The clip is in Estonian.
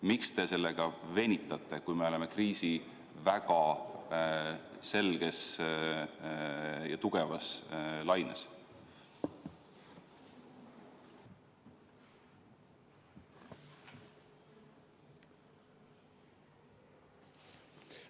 Miks te sellega venitate, kui me oleme kriisi väga selges ja tugevas laines?